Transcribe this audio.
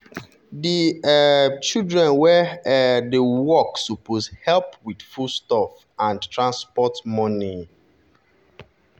di um children wey um dey work suppose help with foodstuff and transport money.